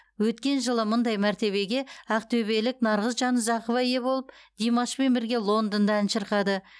өткен жылы мұндай мәртебеге ақтөбелік нарғыз жанұзақова ие болып димашпен бірге лондонда ән шырқады